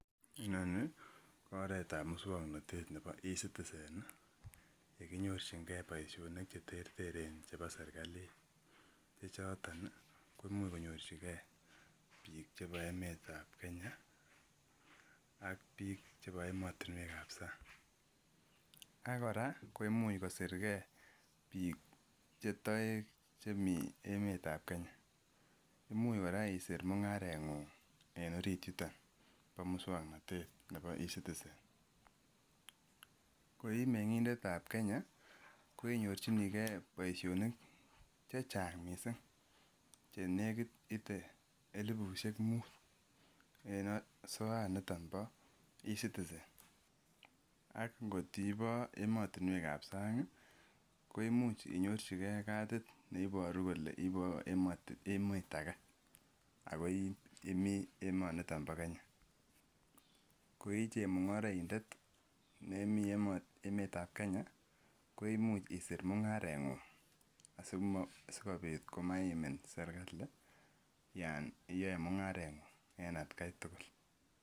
Inoni ko oretab musuaknotet nebo e ziticen nekinyorchin ne bo boisienik cheterteren che bo serkalit chechoton koimuch konyor chike bik chebo emeetab Kenya ak biik chebo emotinuek kab sang. Ak kora komuch kosirge bik che toek chi mi emeetab Kenya imuch isir mung'aret en orit yuton bo musuaknotet nebo e citizenko I mengindet tab Kenya koi nyorchinige boisionik chechang missing che nekit ite elibusiek muut en soet niton bo e citizen. Ak ngotiboo ematuneukab sang ko imuche inyorchikee cadid neiboru kole iboo emet age ako Imii emet niton bo Kenya koi che mung'araindet nemii emetab Kenya koimuch isir mung'aretng'ung asikobit komaimin serigali Yoon iyoe mung'aret ng'u en atkai tugul.